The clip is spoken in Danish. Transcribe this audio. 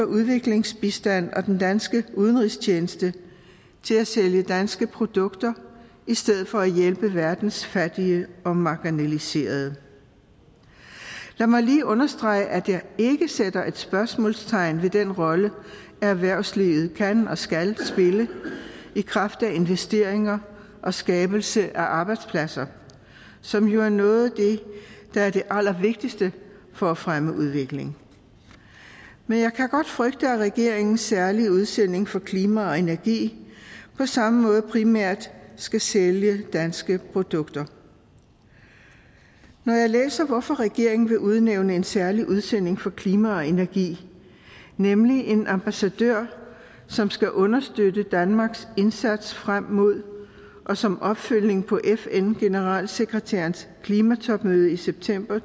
udviklingsbistand og den danske udenrigstjeneste til at sælge danske produkter i stedet for at hjælpe verdens fattige og marginaliserede lad mig lige understrege at jeg ikke sætter spørgsmålstegn ved den rolle erhvervslivet kan og skal spille i kraft af investeringer og skabelse af arbejdspladser som jo er noget der er det allervigtigste for at fremme udvikling men jeg kan godt frygte at regeringens særlige udsending for klima og energi på samme måde primært skal sælge danske produkter når jeg læser hvorfor regeringen vil udnævne en særlig udsending for klima og energi nemlig en ambassadør som skal understøtte danmarks indsats frem mod og som opfølgning på fn generalsekretærens klimatopmøde i september